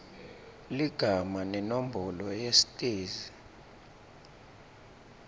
ligama nenombolo yesitezi